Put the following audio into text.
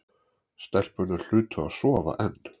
Stelpurnar hlutu að sofa enn.